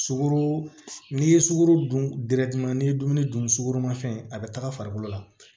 Sukaro n'i ye sugoro dun n'i ye dumuni dun sukoro ma fɛn a bɛ taga farikolo la